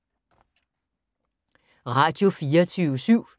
Radio24syv